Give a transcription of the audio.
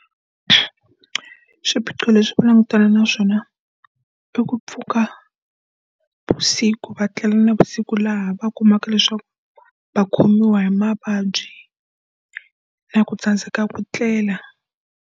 Swiphiqo leswi va langutanaka na swona i ku pfuka vusiku, va tlela navusiku laha va kumaka leswaku va khomiwa hi mavabyi na ku tsandzeka ku tlela.